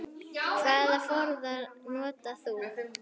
Hvaða farða notar þú?